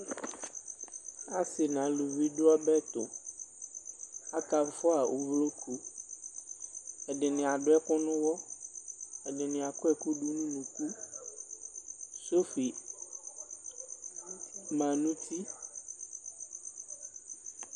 asii nʋ alʋvi dʋ ɔbɛtʋ, aka ƒʋa ʋvlɔkʋ, ɛdini adʋ ɛkʋ nʋ ɛlʋ, ɛdini akɔ ɛkʋ dʋnʋ ʋnʋkʋ, sɔƒi manʋ ʋti